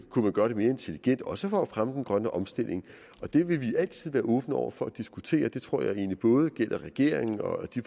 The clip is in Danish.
man gøre det mere intelligent også for at fremme den grønne omstilling det vil vi altid være åbne over for at diskutere det tror jeg egentlig både gælder regeringen og de